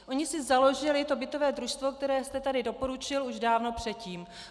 Oni si založili to bytové družstvo, které jste tady doporučil, už dávno předtím.